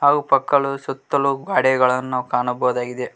ಹಾಗು ಪಕ್ಕಲು ಸುತ್ತಲು ಗಾಡೆಗಳನ್ನು ನಾವು ಕಾಣಬಹುದಾಗಿದೆ.